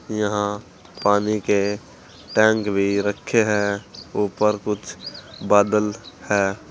यहां पानी के टैंक भी रखे है ऊपर कुछ बादल है।